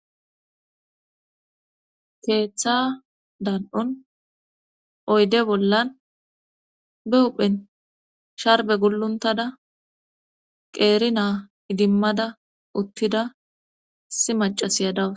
keeththa dan7un oyde bollan be uphen sharbe gulluntada qeeri naa idimmada uttida issi macasiyadawus